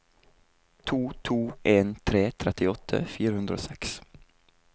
to to en tre trettiåtte fire hundre og seks